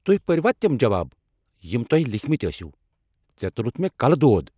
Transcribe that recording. تُہۍ پرۍوا تِم جواب ، یِم تۄہہِ لیكھمٕتۍ ٲسِۍوٕ ؟ ژےٚ تُلتھ مےٚ كلہٕ دود۔